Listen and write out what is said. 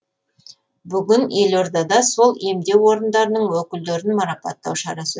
бүгін елордада сол емдеу орындарының өкілдерін марапаттау шарасы